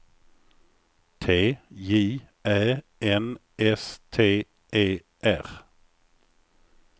T J Ä N S T E R